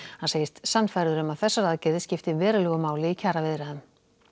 hann segist sannfærður um að þessar aðgerðir skipti verulegu máli í kjaraviðræðum